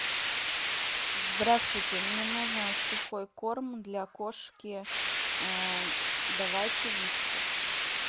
здравствуйте мне нужно сухой корм для кошки давайте вискас